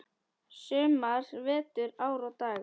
sumar, vetur, ár og daga.